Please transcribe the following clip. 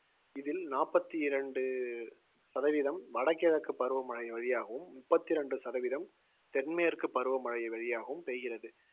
இதில் நாப்பத்தி இரண்டு சதவீதம் வடகிழக்கு பருவமழை வழியாகவும், முப்பத்தி இரண்டு சதவீதம் தென்மேற்கு பருவமழை வழியாகவும் பெய்கிறது